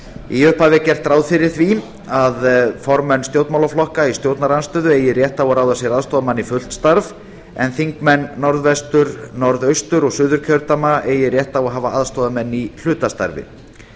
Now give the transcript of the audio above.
í upphafi er gert ráð fyrir því að formenn stjórnmálaflokka í stjórnarandstöðu eigi rétt á að ráða sér aðstoðarmann í fullt starf en þingmenn norðvestur norðaustur og suðurkjördæma eigi rétt á að eiga aðstoðarmenn í hlutastarfi